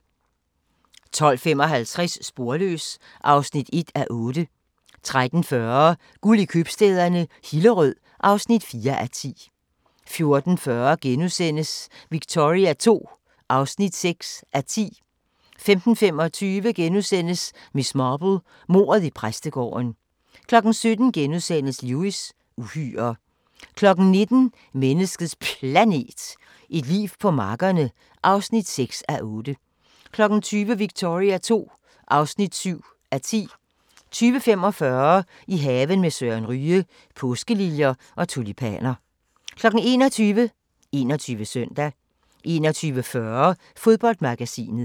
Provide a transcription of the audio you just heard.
12:55: Sporløs (1:8) 13:40: Guld i købstæderne - Hillerød (4:10) 14:40: Victoria II (6:10)* 15:25: Miss Marple: Mordet i præstegården * 17:00: Lewis: Uhyrer * 19:00: Menneskets Planet – et liv på markerne (6:8) 20:00: Victoria II (7:10) 20:45: I haven med Søren Ryge: Påskeliljer og tulipaner 21:00: 21 Søndag 21:40: Fodboldmagasinet